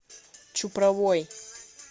чупровой